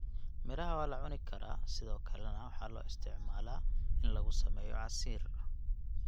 Midhaha waa la cuni karaa sidoo kalena waxa lo isticmala in lagu sameyo casiir.